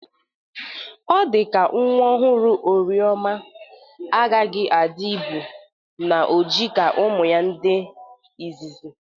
Ọ dịka nwa ọhụrụ Orieoma agaghi adị ibụ na ojii ka ụmụ ya ndị ịzịzị.